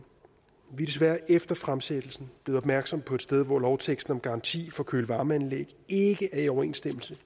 vi er desværre efter fremsættelsen blevet opmærksom på et sted hvor lovteksten om garanti for køle varme anlæg ikke er i overensstemmelse